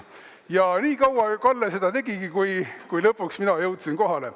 " Ja nii kaua Kalle seda tegigi, kuni lõpuks mina jõudsin kohale.